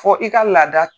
Fɔ i ka laada